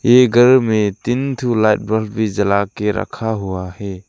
ये घर में तीन ठो लाइट बल्ब भी जला के रखा हुआ है।